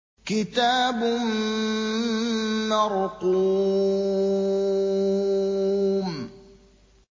كِتَابٌ مَّرْقُومٌ